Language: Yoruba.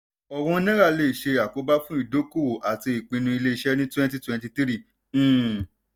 ọ̀wọ́n náírà le ṣe àkóbá fún ìdókòwò àti ìpinnu iléeṣẹ́ ní twenty twenty three. um